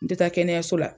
N tɛ taa kɛnɛyaso la